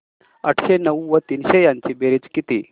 आठशे नऊ व तीनशे यांची बेरीज किती